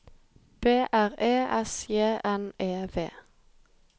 B R E S J N E V